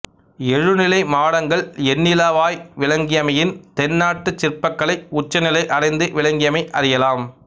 எழுநிலை மாடங்கள் எண்ணிலவாய் விளங்கியமையின் தென்னாட்டுச் சிற்பக்கலை உச்ச நிலை அடைந்து விளங்கியமை அறியலாம்